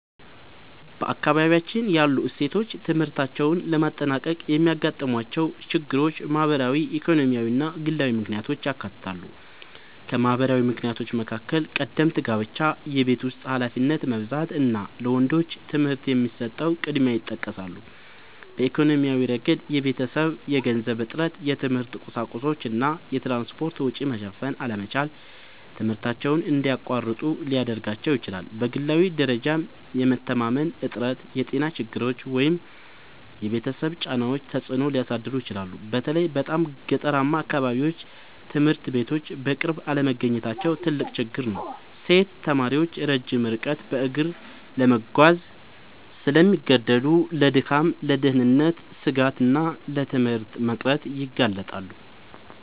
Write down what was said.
በአካባቢያችን ያሉ ሴቶች ትምህርታቸውን ለማጠናቀቅ የሚያጋጥሟቸው ችግሮች ማህበራዊ፣ ኢኮኖሚያዊ እና ግላዊ ምክንያቶችን ያካትታሉ። ከማህበራዊ ምክንያቶች መካከል ቀደምት ጋብቻ፣ የቤት ውስጥ ኃላፊነት መብዛት እና ለወንዶች ትምህርት የሚሰጠው ቅድሚያ ይጠቀሳሉ። በኢኮኖሚያዊ ረገድ የቤተሰብ የገንዘብ እጥረት፣ የትምህርት ቁሳቁሶች እና የትራንስፖርት ወጪ መሸፈን አለመቻል ትምህርታቸውን እንዲያቋርጡ ሊያደርጋቸው ይችላል። በግላዊ ደረጃም የመተማመን እጥረት፣ የጤና ችግሮች ወይም የቤተሰብ ጫናዎች ተጽዕኖ ሊያሳድሩ ይችላሉ። በተለይ በጣም ገጠራማ አካባቢዎች ትምህርት ቤቶች በቅርብ አለመገኘታቸው ትልቅ ችግር ነው። ሴት ተማሪዎች ረጅም ርቀት በእግር ለመጓዝ ስለሚገደዱ ለድካም፣ ለደህንነት ስጋት እና ለትምህርት መቅረት ይጋለጣሉ